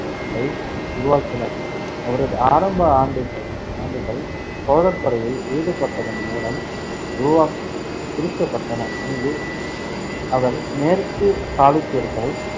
வை உருவாக்கினர். அவரது ஆரம்ப ஆண்டுக~ ஆண்டுகள் சோழர் படையில் ஈடுபட்டதன் மூலம் உருவாக்~ குறிக்கப்பட்டன, அங்கு அவர் மேற்கு சாளுக்கியர்கள்